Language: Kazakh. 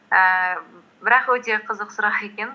ііі бірақ өте қызық сұрақ екен